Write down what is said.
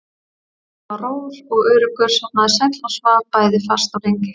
Ég var rór og öruggur, sofnaði sæll og svaf bæði fast og lengi.